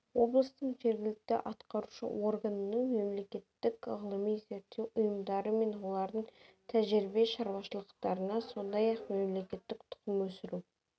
облыстың жергілікті атқарушы органының мемлекеттік ғылыми-зерттеу ұйымдары мен олардың тәжірибе шаруашылықтарына сондай-ақ мемлекеттік тұқым өсіру